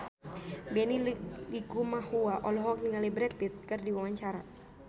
Benny Likumahua olohok ningali Brad Pitt keur diwawancara